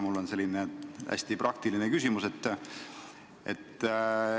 Mul on selline hästi praktiline küsimus.